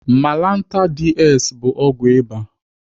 Malantar DS bụ ọgwụ ịba.